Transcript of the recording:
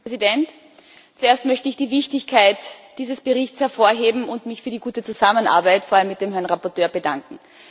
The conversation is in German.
Herr Präsident! Zuerst möchte ich die Wichtigkeit dieses Berichts hervorheben und mich für die gute Zusammenarbeit vor allem mit dem Berichterstatter bedanken.